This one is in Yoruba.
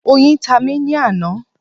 Oyin ta mí ní àná